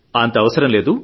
అంత అవసరం లేదు